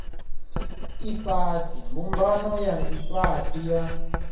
ifhasi mbumbano ya ifhasi ya